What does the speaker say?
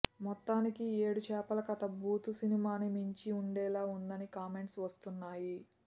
మొత్తానికి ఏడు చేపల కథ బూతు సినిమాని మించి ఉండేలా ఉందని కామెంట్స్ వస్తున్నాయి